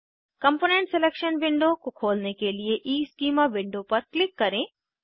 component selection window को खोलने के लिए ईस्कीमा विंडो पर क्लिक करें